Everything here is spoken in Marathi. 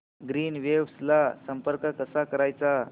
ग्रीनवेव्स ला संपर्क कसा करायचा